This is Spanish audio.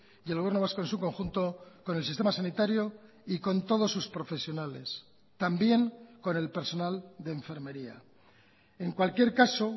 y el gobierno vasco en su conjunto con el sistema sanitario y con todos sus profesionales también con el personal de enfermería en cualquier caso